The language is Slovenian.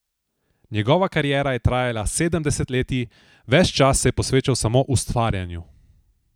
Njegova kariera je trajala sedem desetletij, ves čas se je posvečal samo ustvarjanju.